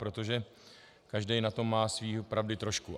Protože každý na tom má své pravdy trošku.